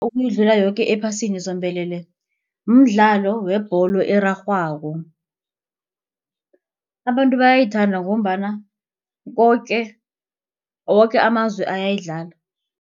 Ukuyidlula yoke ephasini zombelele mdlalo webholo erarhwako. Abantu bayayithanda ngombana koke woke amazwe ayayidlala.